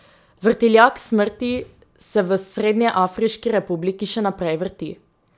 Vrtiljak smrti se v Srednjeafriški republiki še naprej vrti.